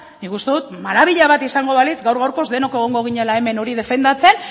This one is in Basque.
nik uste dut maravilla izango balitz gaur gaurkoz denok egongo ginela hemen defendatzen